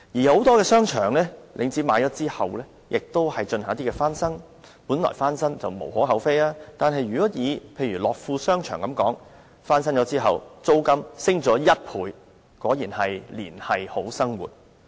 很多被領展購買的商場都會進行翻新，本來翻新也無可厚非，但以樂富商場為例，翻新後租金卻上升1倍，果然是"連繫好生活"。